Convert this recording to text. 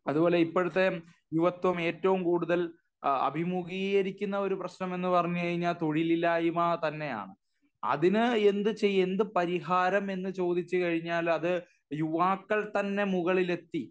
അതുപോലെ ഇപ്പോഴത്തെ യുവത്ത്വം ഏറ്റവും കൂടുതൽ അഭിമുഖീകരിക്കുന്ന ഒരു പ്രശ്നം എന്ന് പറഞ്ഞു കഴിഞ്ഞാൽ തൊഴിലില്ലായ്മ തന്നെയാണ്. അതിനു എന്തു ചെയ്യ് എന്തു പരിഹാരം എന്ന് ചോദിച്ചു കഴിഞ്ഞാൽ അത് യുവാക്കൾ തന്നെ മുകളിലെത്തി